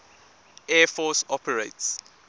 air force operates